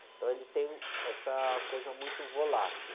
Então ele tem essa coisa muito volátil.